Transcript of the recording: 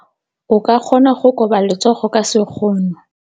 O ka kgona go koba letsogo ka sekgono.